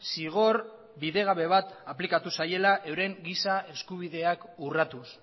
zigor bidegabe bat aplikatu zaiela euren giza eskubideak urratuz